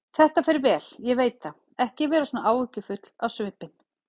Þetta fer vel, ég veit það, ekki vera svona áhyggjufull á svipinn.